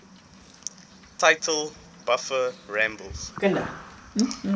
title buffer rumbles